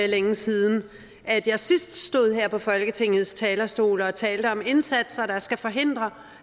længe side at jeg sidst stod her på folketingets talerstol og talte om indsatser der skal forhindre